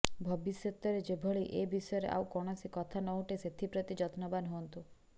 ଭବିଷ୍ୟତରେ ଯେଭଳି ଏ ବିଷୟରେ ଆଉ କୌଣସି କଥା ନ ଉଠେ ସେଥିପ୍ରତି ଯତ୍ନବାନ୍ ହୁଅନ୍ତୁ